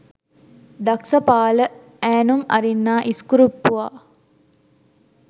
දක්ස පාල ඈනුම් අරින්නා ඉස්කුරුප්පුවා